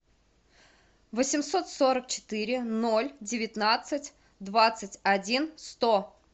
восемьсот сорок четыре ноль девятнадцать двадцать один сто